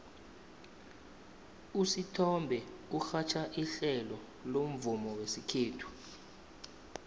usithombe urhatjha ihlelo lomvumo wesikhethu